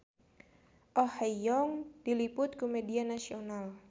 Oh Ha Young diliput ku media nasional